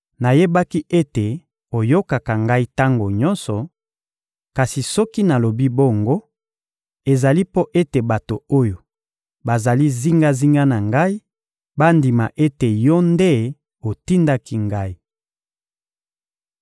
Nayebaki ete oyokaka Ngai tango nyonso; kasi soki nalobi bongo, ezali mpo ete bato oyo bazali zingazinga na Ngai bandima ete Yo nde otindaki Ngai.»